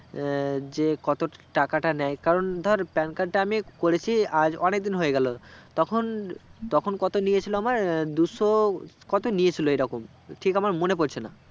আহ যে কত টাকাটা নেই কারণ ধর PAN card তা আমি করেছি আজ অনেক দিন হয়েগেলো তখন তখন কত নিয়েছিল আমার দুশো কত নিয়েছিল এইরকম ঠিক আমার মনে পড়ছেনা